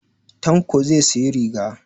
Tanko zai siyi riga